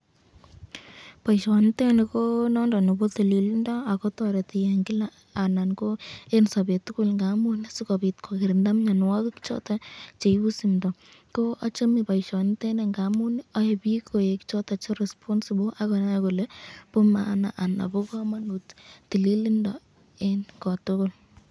Boisyoniteni ko noton nebo tililindo, akotoreti eng Kila anan ko eng sabet tukul ngamun sikobit kokirinda mnyanwakik choton cheibu simdo, ko achame boisyoniteni ngamun ae bik koek choton che responsible akonai kole bo maana anan bo kamanut tililindo eng kotukul .